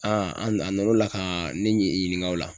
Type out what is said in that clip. an na n'o la ka ne ɲininka o la